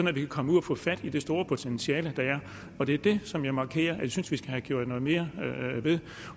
at vi kan komme ud og få fat i det store potentiale der er og det er det som jeg markerer at jeg synes vi skal have gjort noget mere ved